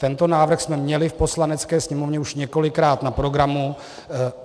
Tento návrh jsme měli v Poslanecké sněmovně už několikrát na programu.